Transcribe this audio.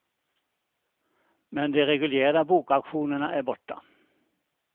Men de reguljära bokauktionerna är borta.